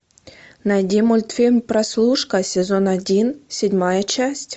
найди мультфильм прослушка сезон один седьмая часть